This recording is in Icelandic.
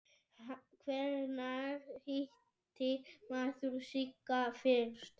Hvenær hitti maður Sigga fyrst?